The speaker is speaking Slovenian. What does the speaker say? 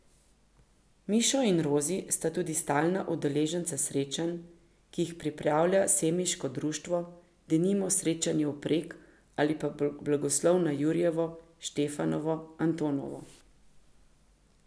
Mišo in Rozi sta tudi stalna udeleženca srečanj, ki jih pripravlja semiško društvo, denimo srečanja vpreg ali pa blagoslovov na jurjevo, štefanovo, antonovo.